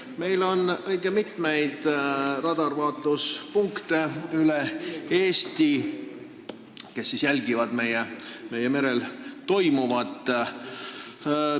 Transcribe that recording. Meil on õige mitmeid radarvaatluspunkte üle Eesti, mis jälgivad merel toimuvat.